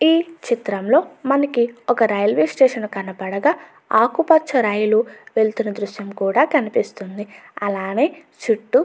ఈ చిత్రంలో మనకి ఒక రైల్వే స్టేషన్ కనపడగా ఆకుపచ్చ రైలు వెళుతున్న దృశ్యం కూడా మనకి ఇక్కడ కనిపిస్తూ ఉంది.